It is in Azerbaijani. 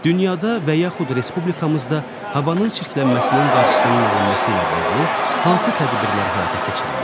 Dünyada və yaxud respublikamızda havanın çirklənməsinin qarşısının alınması ilə bağlı hansı tədbirlər həyata keçirilir?